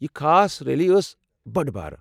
یہ خاص ریلی ٲس بٔڑ بھارٕ ۔